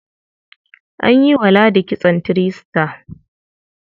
An yi wa ladi kitson three star.